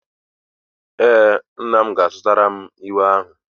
Ee, nna m ga-azụtara m uwe ahu